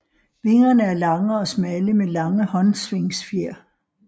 Vingerne er lange og smalle med lange håndsvingfjer